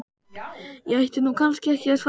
Ég ætti nú kannski ekki að svara því.